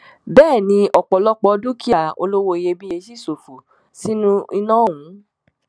bẹẹ ni ọpọlọpọ dúkìá olówó iyebíye ṣì ṣòfò sínú iná ọhún